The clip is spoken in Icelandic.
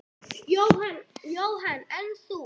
Jóhann: En þú?